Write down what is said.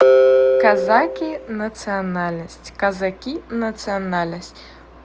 казаки национальность казаки национальность